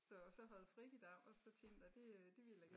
Så så havde a fri i dag og så tænkte a det det ville a gerne